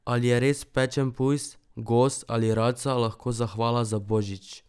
Ali je res pečen pujs, gos ali raca lahko zahvala za božič?